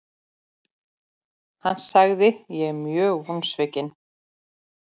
Hann sagði:, Ég er mjög vonsvikinn.